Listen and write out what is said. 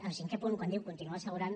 el cinquè punt quan diu continuar assegurant